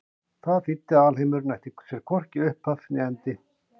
Það þýddi að alheimurinn ætti sér hvorki upphaf né endi.